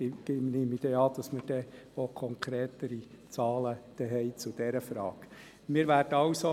Ich nehme an, dass man dann auch über konkretere Zahlen zu dieser Frage verfügen wird.